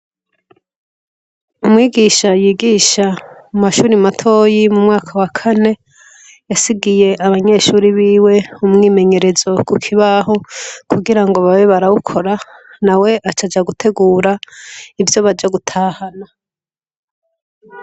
Umwigisha yigisha mu mashure matoyi mu mwaka wa kane yasigiye abanyeshure biwe umwimenyerezo kukibaho kugira ngo babe barawukora nawe aca aja gutegura ivyo baza gutahana.